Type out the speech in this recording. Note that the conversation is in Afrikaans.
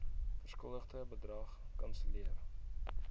verskuldigde bedrag kanselleer